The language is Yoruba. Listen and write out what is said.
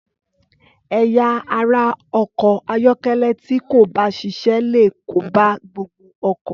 Ẹ̀yà ara ọkọ̀ ayọ́kẹ́lẹ́ tí kò bá ṣiṣẹ́ léè kó bá gbogbo ọkọ̀.